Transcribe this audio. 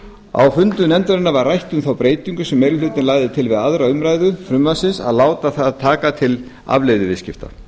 á fundum nefndarinnar var rætt um þá breytingu sem meiri hlutinn lagði til við aðra umræðu frumvarpsins að láta það taka til afleiðuviðskipta